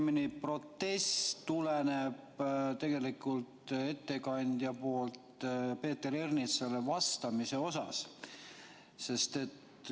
Minu protest tuleneb tegelikult ettekandja vastusest Peeter Ernitsale.